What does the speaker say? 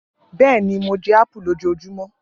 Bẹẹni, Mo jẹ apu lojoojumọ